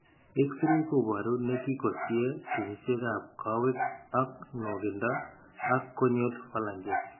X-rays kobaru ne kikosie kenyisiekap koowek ak nwokindo ak conial phalanges